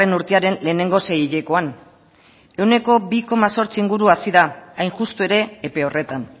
urtearen lehenengo seihilekoan ehuneko bi koma zortzi inguru hazi da hain justu ere epe horretan